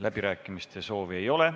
Läbirääkimiste soovi ei ole.